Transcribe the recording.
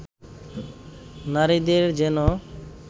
নারীদের যেনো